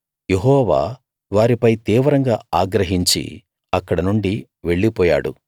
యెహోవా వారిపై తీవ్రంగా ఆగ్రహించి అక్కడనుండి వెళ్ళిపోయాడు